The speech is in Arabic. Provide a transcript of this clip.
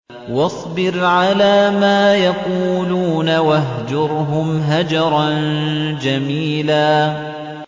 وَاصْبِرْ عَلَىٰ مَا يَقُولُونَ وَاهْجُرْهُمْ هَجْرًا جَمِيلًا